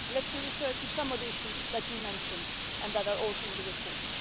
Let me refer to some of the issues which you mentioned and that are also in the report.